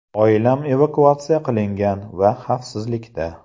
Oilam evakuatsiya qilingan va xavfsizlikda.